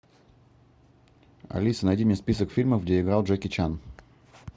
алиса найди мне список фильмов где играл джеки чан